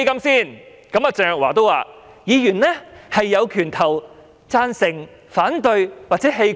她說議員有權投贊成、反對票或棄權。